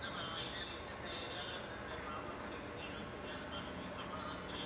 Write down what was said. இல்ல ma'am எங்களுக்கு இந்தந்த area ல இந்தந்த problem இருக்குதுன்னு எங்களுக்கு தெரியாது ma'am நீங்க சொன்னா தான் தெரியும